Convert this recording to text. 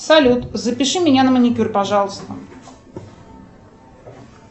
салют запиши меня на маникюр пожалуйста